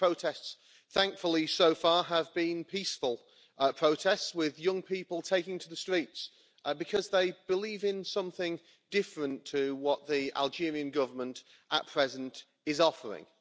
The protests, thankfully, have so far been peaceful protests with young people taking to the streets because they believe in something different to what the Algerian Government at present is offering.